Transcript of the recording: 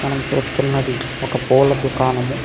మనము చూస్తున్నది ఒక పూల దుకాణము.